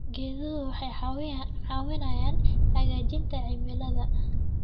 Geeduhu waxay caawiyaan hagaajinta cimilada.